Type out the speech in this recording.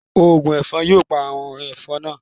Ògùn ẹ̀fọn yóò pa àwọn ẹ̀fọn naa